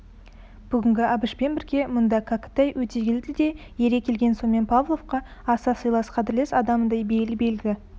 бүгінгі әбішпен бірге мұнда кәкітай өтегелді де ере келген сомен павловқа аса сыйлас қадірлес адамындай бейіл-белгі